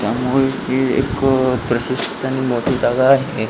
त्यामुळे ही एक प्रशिस्त आन मोठी जागा आहे.